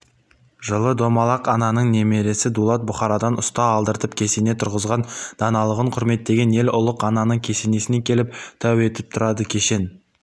жылы домалақ ананың немересі дулат бұхарадан ұста алдыртып кесене тұрғызған даналығын құрметтеген ел ұлық ананың кесенесіне келіп тәу етіп тұрады кешен